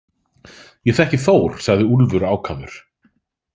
Ég þekki Þór, sagði Úlfur ákafur.